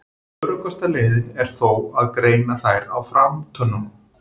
Öruggasta leiðin er þó að greina þær á framtönnunum.